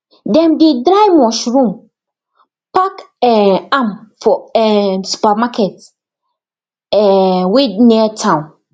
dem dey dry mushroom pack um am for um supermarket um wey near town